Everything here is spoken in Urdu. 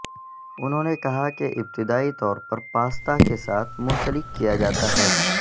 انہوں نے کہا کہ ابتدائی طور پر پاستا کے ساتھ منسلک کیا جاتا ہے